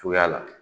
Cogoya la